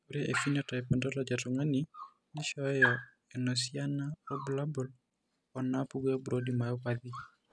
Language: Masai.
Ore ephenotype ontology etung'ani neishooyo enasiana oorbulabul onaapuku eBrody myopathy.